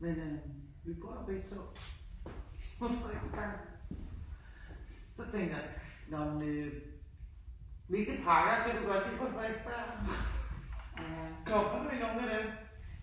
Men øh vi bor begge to på Frederiksberg, så tænker jeg nåh men øh hvilke parker kan du godt lide på Frederiksberg? Kommer du ikke også i dem?